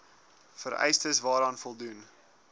vereistes waaraan voldoen